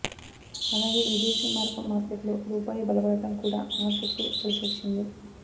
అలాగే విదేశీ మారకం మార్కెట్లో రూపాయి బలపడటం కూడా మార్కెట్కు కలిసొచ్చింది